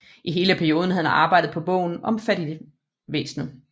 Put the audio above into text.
I hele perioden havde han arbejdet på bogen om fattigvæsenet